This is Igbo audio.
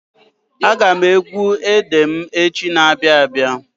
Aga m egwu ede m echi na-abịa abịa.